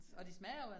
Ja